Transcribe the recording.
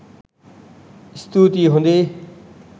ස්තූති හොඳේ.